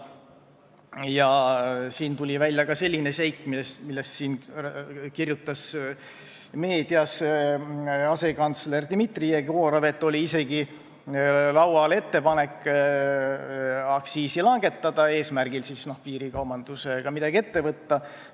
Välja on tulnud ka selline seik – sellest kirjutas meedias asekantsler Dmitri Jegorov –, et laual isegi oli ettepanek aktsiisi langetada, kuna piirikaubandusega taheti midagi ette võtta.